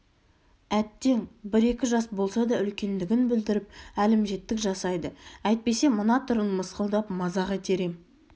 әттең бір-екі жас болса да үлкендігін білдіріп әлімжеттік жасайды әйтпесе мына түрін мысқылдап мазақ етер ем